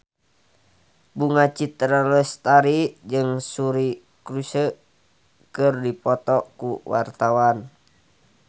Bunga Citra Lestari jeung Suri Cruise keur dipoto ku wartawan